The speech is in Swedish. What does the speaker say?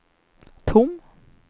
tom